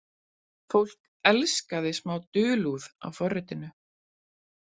Fólk elskaði smá dulúð á forritinu.